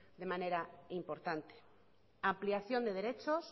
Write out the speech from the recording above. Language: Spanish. de manera importante ampliación de derechos